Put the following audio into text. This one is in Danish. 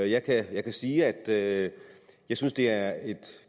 jeg kan sige at jeg synes det er et